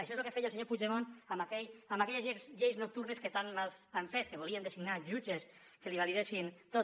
això és el que feia el senyor puigdemont amb aquelles lleis nocturnes que tant mal han fet que volien designar jutges que li validessin tot